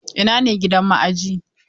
Ina ne gidan ma'ajiyi?